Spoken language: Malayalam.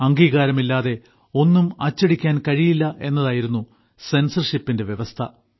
അംഗീകാരമില്ലാതെ ഒന്നും അച്ചടിക്കാൻ കഴിയില്ലെന്നതായിരുന്നു സെൻസർഷിപ്പിന്റെ വ്യവസ്ഥ